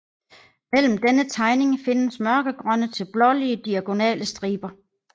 Mellem denne tegning findes mørkegrønne til blålige diagonale striber